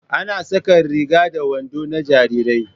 Ana saƙar riga da wando na jarirai